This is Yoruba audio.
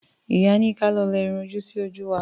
Ìyá ní ka lọ lẹ irun ojú sí ojú wa.